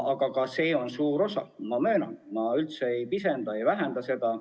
Ka see on suur osa, ma möönan, ma üldse ei pisenda seda.